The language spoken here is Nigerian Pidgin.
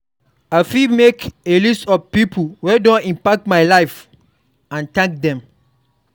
I fit make a list of pipo wey don impact my life and thank dem.